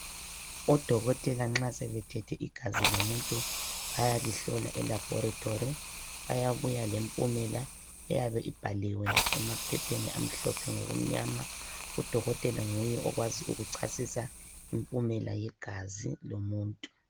Odokotela nxa sebethethe igazi lomuntu bayalihlola elaboritori bayabuya lempumela eyabe ibhaliwe emaphepheni amhlophe ngokumnyama udokotela nguye okwazi ukuchasisa impumela yegazi lomuntu.